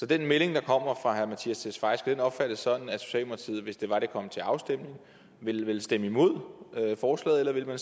den melding der kommer fra herre mattias tesfaye opfattes sådan at socialdemokratiet hvis det var at det kom til afstemning ville stemme imod forslaget eller